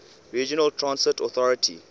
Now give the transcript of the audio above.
regional transit authority